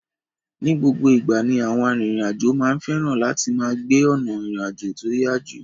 Ni gbogbo ìgbà ni àwọn arìnrìn àjò máa ń fẹ́ràn láti máa gbé ọ̀nà ìrìn àjò tí ó yá jù.